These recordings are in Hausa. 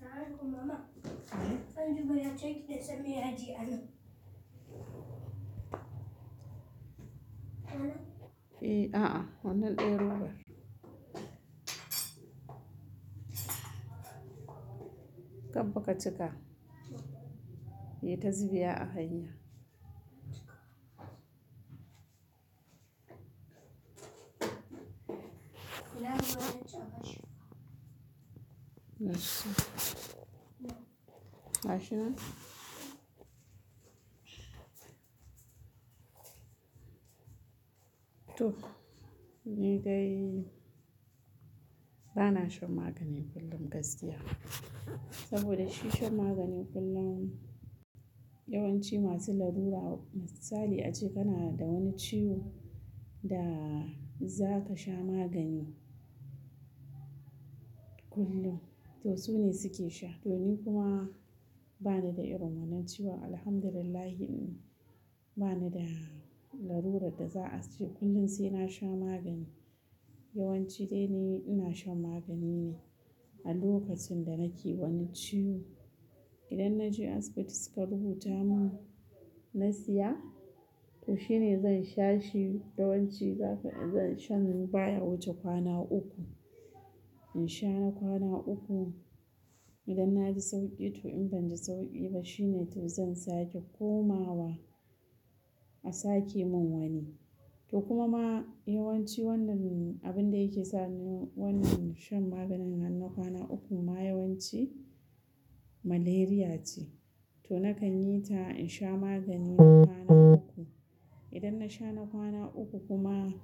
Sa'an kuma ma, an jima ya ce ki da sami yaji a nan. Eh, a'a, wannan ɗaya robar. Kaffa ka cika. Yi ta zubewa a hanya. Yaushe? Ba shi. Gashinan to, ni dai ba na shan magani kullum gaskiya. Saboda shi shan magani kullum yawanci masu larura, misali a ce kana da wani ciwo da za ka sha magani kullum. To su ne suke sha. To ni kuma ba ni da irin wannan ciwon, Alhamdulillah. Ba ni da larurar da za a ce kullum sai na sha magani. Yawanci dai ni ina shan magani ne a lokacin da nake wani ciwo. Idan na je asibiti suka rubuta mun, na siya, to shi ne zan sha shi. Yawanci shan baya wuce kwana uku. In sha na kwana uku, idan na ji sauƙi to, in ban ji sauƙi ba, shi ne to zan sake komawa a sake mun wani. To kuma ma yawanci wannan abin da yake sa ni wannan shan maganin nan kwana ukun ma yawanci malaria ce. To na kan yi ta in sha magani. Kwana uku. Idan na sha na kwana uku kuma.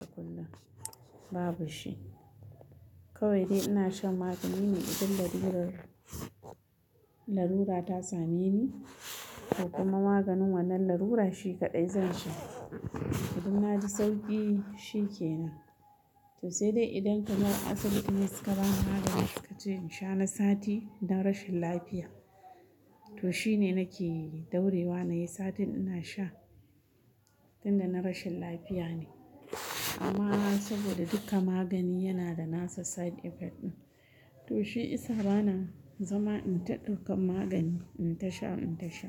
Da kullum babu shi. Kawai dai ina shan magani ne idan larurar, larura ta same ni, to kuma maganin wannan larura shi kaɗai zan sha. Idan na ji sauƙi shi ke nan. To sai dai idan kamar asibiti ne suka bani magani suka ce in sha na sati don rashin lafiya. To shi ne nake daurewa nayi satin ina sha. Tun da na rashin lafiya ne. Amma saboda dukka magani yana da nasa side effect ɗin. To shi isa bana zama in ta ɗirkan magani in ta sha, in ta sha.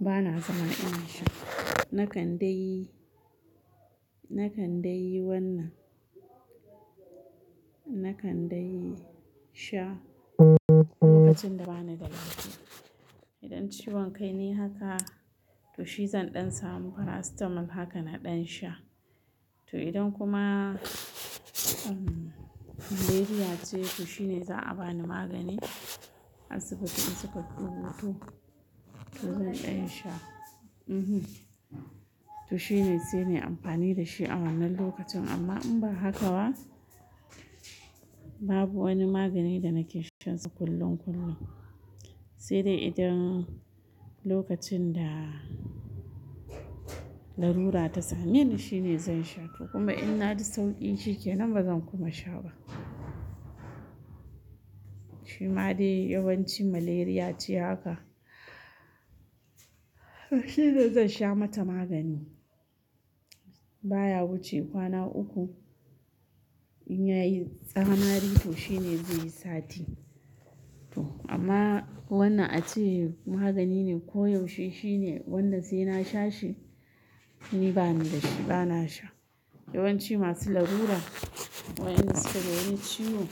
Bana zama ina sha. Na kan dai na kan dai yi wannan. Na kan dai sha. Lokacin da bani da lafiya. Idan ciwon kai ne haka, to shi zan ɗan samu paracetamol haka na ɗan sha. To idan kuma malaria ce, to shi ne za a bani magani asibiti in suka rubuto. To zan ɗan sha. To kuma ma yawanci wannan abin da yake sa ni wannan shan maganin nan kwana ukun ma yawanci malaria ce. Sai dai idan lokacin da lalura ta sameni shine zan sha to kuma in na ji sauƙi shi ke nan ba zan kuma sha ba. Shi ma dai yawanci malaria ce haka. Shi ne zan sha mata magani baya wuce kwana uku. In ya yi tsamari to shi ne zai yi sati. To amma wannan a ce magani ne ko yaushe shi ne wan da sai na sha shi. Ni bani da shi, bana sha. Yawanci masu larura wa enda suke da wani ciwo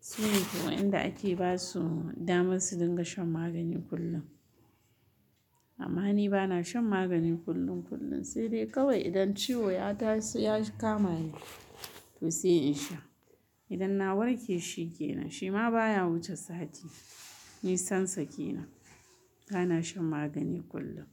su ne kam wa enda ake ba su damar su dinga shan magani kullum. Amma ni bana shan magani kullum kullum. Sai dai kawai idan ciwo ya taso ya kama ni to sai in sha. Idan na warke shi ke nan. Shi ma baya wuce sati. Nisan sa kenan. Bana shan magani kullum.